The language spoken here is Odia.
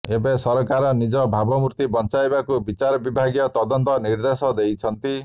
ଏବେ ସରକାର ନିଜ ଭାବମୂର୍ତ୍ତି ବଞ୍ଚାଇବାକୁ ବିଚାର ବିଭାଗୀୟ ତଦନ୍ତ ନିର୍ଦ୍ଦେଶ ଦେଇଛନ୍ତି